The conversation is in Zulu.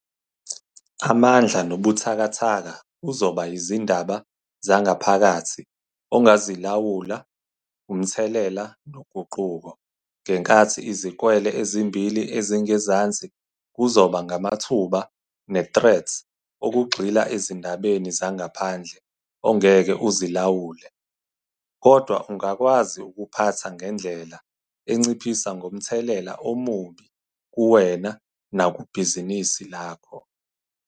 Amandla nobuThakathaka kuzoba yizindaba zangaphakathi ONGAZILAWULA, UMTHELELA noGUQUKO ngenkathi izikwele ezimbili ezingezansi kuzoba ngamaThuba neThreats okugxila ezindabeni zangaPHANDLE ongeke uzilawule - kodwa ungakwazi ukuphatha ngendlela enciphisa ngomthelela omubi kuwena nakubhizinisi lakho.